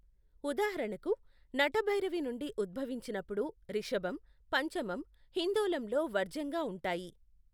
ఉదాహరణకు, నటభైరవి నుండి ఉద్భవించినప్పుడు రిషభం, పంచమం హిందోళంలో వర్జ్యంగా ఉంటాయి.